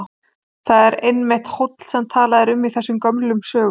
Þar er einmitt hóll sem talað er um í þessum gömlu sögum.